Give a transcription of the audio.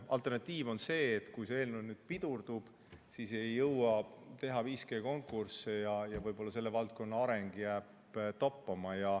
Alternatiiv on see, et kui see eelnõu nüüd pidurdub, siis ei jõua teha 5G konkursse ja võib-olla selle valdkonna areng jääb toppama.